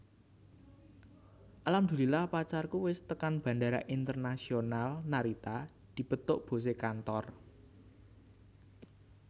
Alhamdulillah pacarku wis tekan Bandara Internaisonal Narita dipethuk bose kantor